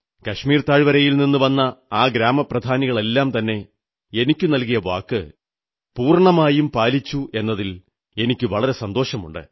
കശ്മീർ താഴ്വരയിൽ നിന്നു വന്ന ആ ഗ്രാമപ്രധാനികളെല്ലാം തന്നെ എനിക്കു നൽകിയ വാക്ക് പൂർണ്ണമായും പാലിച്ചുവെന്നതിൽ എനിക്കു വളരെ സന്തോഷമുണ്ട്